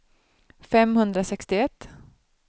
femhundrasextioett